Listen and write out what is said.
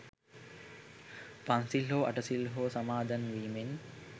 පන්සිල් හෝ අටසිල් හෝ සමාදන් වීමෙන්